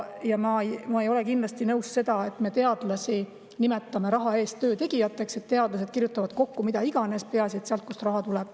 Ja ma ei ole kindlasti nõus, et me nimetame teadlasi raha eest töötegijateks, et teadlased kirjutavad kokku mida iganes, peaasi et raha tuleb.